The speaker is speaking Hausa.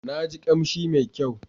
Na ji kamshi mai kyau.